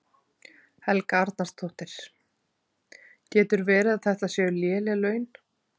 Helga Arnardóttir: Getur verið að þetta séu léleg laun?